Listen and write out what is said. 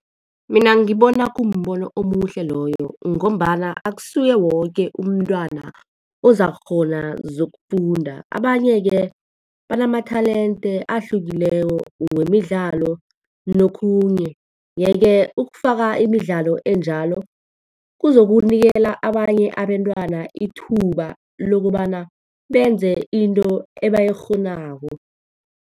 Mina ngibona kumbono omuhle loyo, ngombana akusuye woke umntwana ozakukghona zokufunda. Abanye-ke banama-talent ahlukileko wemidlalo nokhunye. Yeke, ukufaka imidlalo enjalo kuzokunikela abanye abentwana ithuba lokobana benze into ebayikghonako.